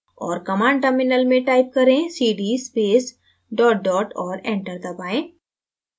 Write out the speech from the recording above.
और command terminal में type करें cd space dot dot और enter दबाएँ